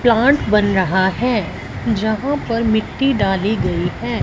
Plant बन रहा है जहां पर मिट्टी डाली गई है।